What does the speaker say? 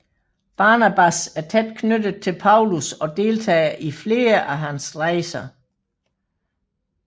Barnabas er tæt knyttet til Paulus og deltager i flere af hans rejser